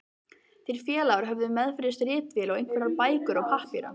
Þeir félagar höfðu meðferðis ritvél og einhverjar bækur og pappíra.